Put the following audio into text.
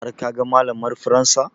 Har ka ga malamar faransa?